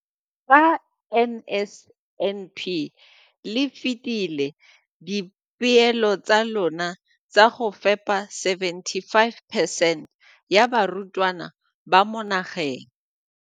Ka NSNP le fetile dipeelo tsa lona tsa go fepa 75 percent ya barutwana ba mo nageng.